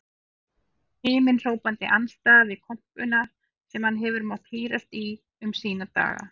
Himinhrópandi andstæða við kompuna sem hann hefur mátt hírast í um sína daga.